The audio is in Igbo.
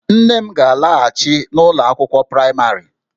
Nne m ga-alaghachi n'ụlọ akwụkwọ praịmarị